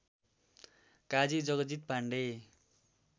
Kaji Jagjit Pandey